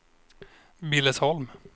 Billesholm